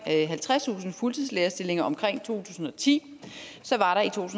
halvtredstusind fuldtidslærerstillinger omkring to tusind og ti